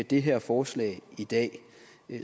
det her forslag i dag